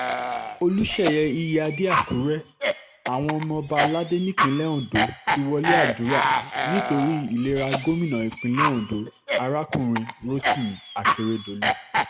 olùṣeyẹ iyíáde àkùrẹ́ àwọn ọba aládé nípínlẹ̀ ondo ti wọlé àdúrà nítorí ìlera gómìnà ìpínlẹ̀ ondo arákùnrin rotimi akeredolu